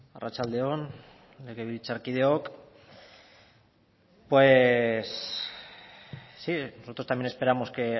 arratsalde on legebiltzarkideok pues sí nosotros también esperamos que